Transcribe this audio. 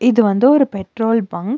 இது வந்து ஒரு பெட்ரோல் பங்க் .